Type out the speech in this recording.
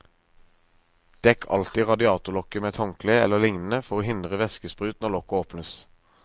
Dekk alltid radiatorlokket med et håndkle eller lignende for å hindre væskesprut når lokket åpnes.